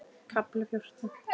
KAFLI FJÓRTÁN